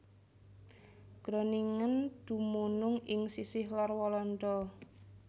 Groningen dumunung ing sisih lor Walanda